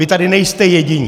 Vy tady nejste jediní!